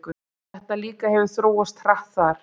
Þetta líka hefur þróast hratt þar?